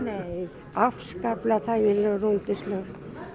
afskaplega þægilegur og yndislegur